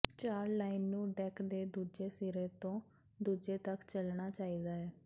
ਚਾਕ line ਨੂੰ deck ਦੇ ਦੂਜੇ ਸਿਰੇ ਤੋਂ ਦੂਜੇ ਤੱਕ ਚਲਣਾ ਚਾਹੀਦਾ ਹੈ